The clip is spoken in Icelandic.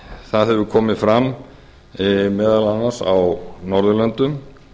það hefur komið fram meðal annars á norðurlöndum